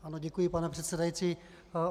Ano, děkuji, pane předsedající.